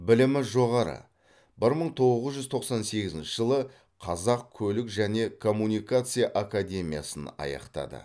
білімі жоғары бір мың тоғыз жүз тоқсан сегізінші жылы қазақ көлік және коммуникация академиясын аяқтады